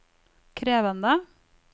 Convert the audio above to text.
krevende